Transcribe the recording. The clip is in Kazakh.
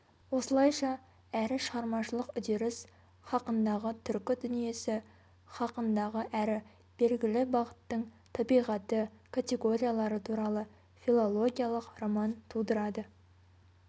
осылайша әрі шығармашылық үдеріс хақындағы түркі дүниесі хақындағы әрі белгілі бағыттың табиғаты категориялары туралы филологиялық роман тудырады